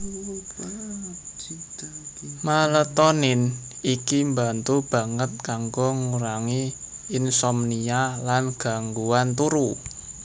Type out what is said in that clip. Maletonin iki mbantu banget kanggo ngurangi insomnia lan gangguan turu